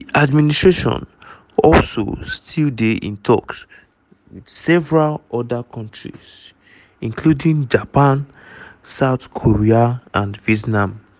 di administration also still dey in toks wit several oda kontris including japan south korea and vietnam.